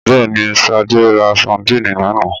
Bẹ́ẹ̀ ni, Fadé rs sadínì lánàá.